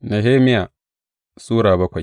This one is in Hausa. Nehemiya Sura bakwai